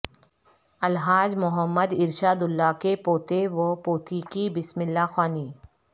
الحاج Muhammad Irshadullah کے پوتے و پوتی کی بسم اللہ خوانی